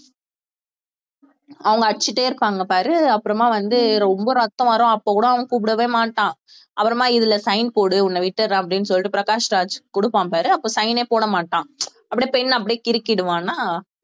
அவங்க அடிச்சிட்டே இருப்பாங்க பாரு அப்புறமா வந்து ரொம்ப ரத்தம் வரும் அப்ப கூட அவன் கூப்பிடவே மாட்டான் அப்புறமா இதுல sign போடு உன்னை விட்டுடுறேன் அப்படின்னு சொல்லிட்டு பிரகாஷ் ராஜ் கொடுப்பான் பாரு அப்ப sign ஏ போட மாட்டான் அப்படியே pen ஐ அப்படியே கிறுக்கிடுவான்னா